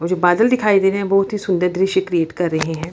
वो जो बादल दिखाई दे रहे हैं बहुत ही सुंदर दृश्य क्रियेट कर रहे हैं।